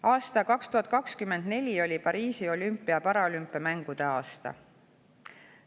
Aastal 2024 oli Pariisi olümpia ja paralümpiamängude aasta.